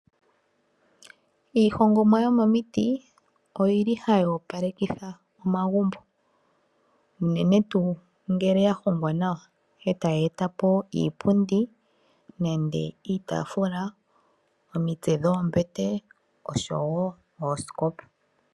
Iihongomwa yomomiti ohayi opalekitha omagumbo, unene tuu ngele ya hongwa nawa, e tayi eta po iipundi nenge iitaafula, omitse dhoombete oshowo oosikopa.